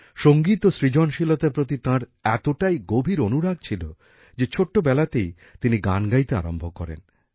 সঙ্গীত ও সৃজনশীলতার প্রতি তাঁর এতটাই গভীর অনুরাগ ছিল যে ছোট্টবেলাতেই তিনি গান গাইতে আরম্ভ করেন